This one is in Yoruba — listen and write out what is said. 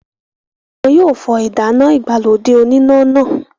wọn yóò fọ ìdáná ìgbàlódé oníná náà.